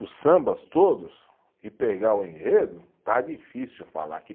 Os sambas todos e pegar o enredo, está difícil falar que